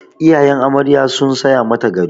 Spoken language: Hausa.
Iyayen amarya sun saya mata gado.